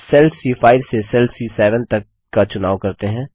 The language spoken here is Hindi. अब सेल सी5 से सेल सी7 तक का चुनाव करते हैं